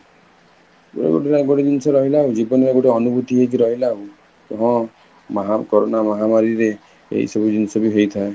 ଆଉ ଗୋଟେ ଜିନିଷ ରହିଲା, ଜୀବନ ଗୋଟେ ଅନୁଭୂତି ହେଇକି ରହିଲା ଆଉ, ତମ ମହା corona ମହାମାରୀ ରେ, ଏଇ ସବୁ ଜିନିଷ ବି ହେଇଥାଏ